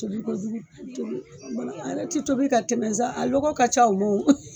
Tobikojuku tobi kumana a yɛrɛ te tobi ka tɛmɛ sa a lɔgɔ ka ca o ma wo.